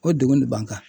O degun de b'an kan